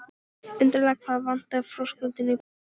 Undarlegt hvað vantar þröskuldinn í börn.